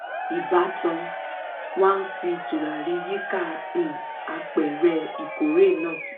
ìbátan wa fí tùràrí yíká um apẹ̀rẹ̀ ìkórè náà